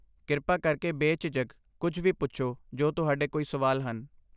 ਕਿਰਪਾ ਕਰਕੇ ਬੇਝਿਜਕ ਕੁੱਝ ਵੀ ਪੁੱਛੋ ਜੋ ਤੁਹਾਡੇ ਕੋਈ ਸੁਵਾਲ ਹਨ